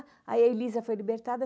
Aí a Elisa foi libertada.